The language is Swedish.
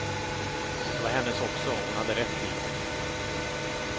De var hennes också, hon hade rätt till dem.